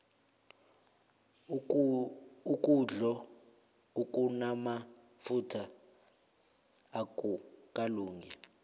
ukudlo okunamafutha akukalungi